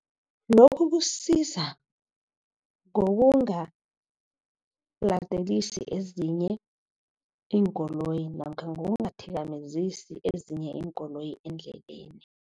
Lokhu kusiza ngokungaladelisi ezinye iinkoloyi, namkha ngokungathikamezi ezinye iinkoloyi endleleni.